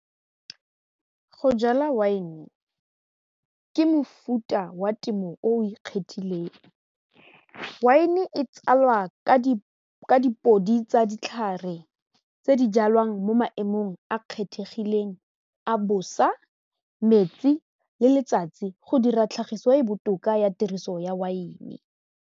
Go jala wine ke mofuta wa temo o ikgethileng, wine e tsalwa ka dipodi tsa ditlhare tse di jalwang mo maemong a kgethegileng a bosa, metsi le letsatsi go dira tlhagiso e botoka ya tiriso ya wine.